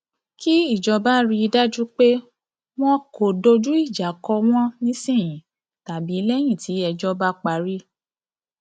kí ìjọba rí i dájú pé wọn kò dojú ìjà kọ wọn nísìnyìí tàbí lẹyìn tí ẹjọ bá parí